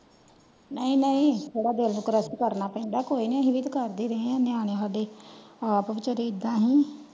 ਨਾਇ ਨਾਇ ਥੋੜਾ ਦਿਲ ਨੂੰ ਕ੍ਰਸ਼ਟ ਕਰਨਾ ਪੈਂਦਾ ਕੋਯੀਨੀ ਅਸੀ ਵੀ ਤੇ ਕਰਦੇ ਰਹੇ ਆ ਨਿਆਣੇ ਸਾਡੇ ਆਪ ਵਿਚਾਰੇ ਇੱਦਾ ਹੈਂ।